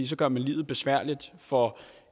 så gør man livet besværligt for